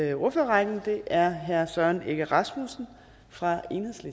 i ordførerrækken er herre søren egge rasmussen fra